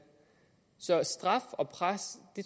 så straf og pres